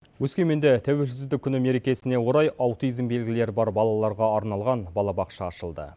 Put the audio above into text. өскеменде тәуелсіздік күні мерекесіне орай аутизм белгілері бар балаларға арналған балабақша ашылды